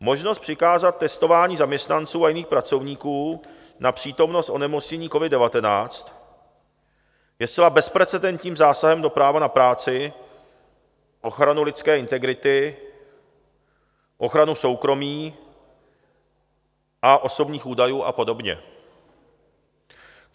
Možnost přikázat testování zaměstnanců a jiných pracovníků na přítomnost onemocnění covid-19 je zcela bezprecedentním zásahem do práva na práci, ochranu lidské integrity, ochranu soukromí a osobních údajů a podobně.